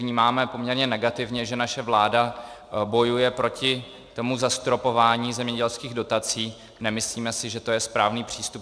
Vnímáme poměrně negativně, že naše vláda bojuje proti tomu zastropování zemědělských dotací, nemyslíme si, že to je správný přístup.